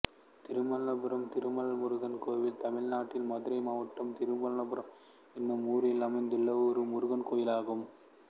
திருமால்புரம் திருமால்முருகன் கோயில் தமிழ்நாட்டில் மதுரை மாவட்டம் திருமால்புரம் என்னும் ஊரில் அமைந்துள்ள முருகன் கோயிலாகும்